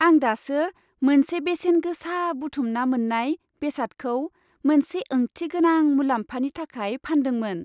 आं दासो मोनसे बेसेनगोसा बुथुमना मोन्नाय बेसादखौ मोनसे ओंथिगोनां मुलाम्फानि थाखाय फानदोंमोन।